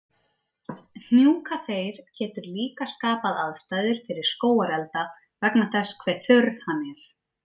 Hnjúkaþeyr getur líka skapað aðstæður fyrir skógarelda vegna þess hversu þurr hann er.